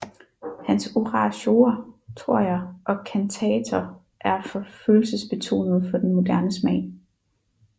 Hans oratorier og kantater er for følelsesbetonede for den moderne smag